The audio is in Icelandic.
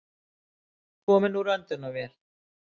Kominn úr öndunarvél